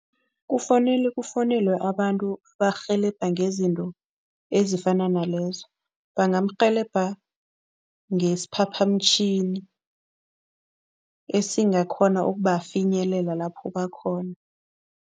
Kufanele kufowunelwe abantu abarhelebha ngezinto ezifana nalezo. Bangarhelebheka ngesiphaphamtjhini esingakghona ukubafinyelela lapho bakhona.